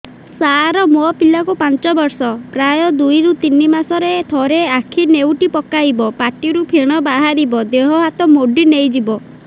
ସାର ମୋ ପିଲା କୁ ପାଞ୍ଚ ବର୍ଷ ପ୍ରାୟ ଦୁଇରୁ ତିନି ମାସ ରେ ଥରେ ଆଖି ନେଉଟି ପକାଇବ ପାଟିରୁ ଫେଣ ବାହାରିବ ଦେହ ହାତ ମୋଡି ନେଇଯିବ